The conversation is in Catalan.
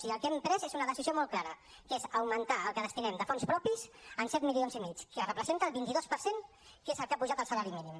i el que hem pres és una decisió molt clara que és augmentar el que destinem de fons propis en set milions i mig que representa el vint dos per cent que és el que ha pujat el salari mínim